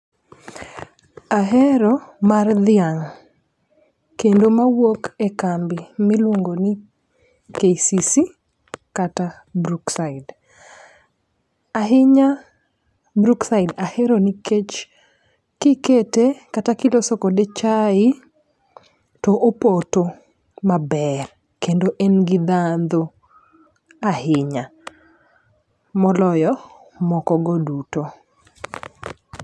Ahero mar dhiang' kendo mawuok e kambi miluongo ni KCC kata brookside . Ahinya brookside ahero nikech kikete kata kiloso kode chai , to opoto maber kendo en gi ndhadhu ahinya moloyo moko go duto.